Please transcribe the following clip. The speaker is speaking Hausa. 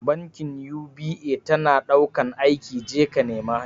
Bankin UBA tana ɗaukan aiki, je ka nema